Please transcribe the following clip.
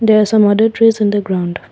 there some other trees in the ground.